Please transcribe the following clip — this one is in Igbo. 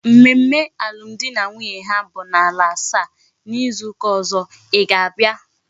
Mmemme alum di na nwunye ha bu na ala asaa na izu uka ozo I ga abia?